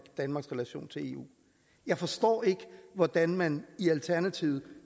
og eu jeg forstår ikke hvordan man i alternativet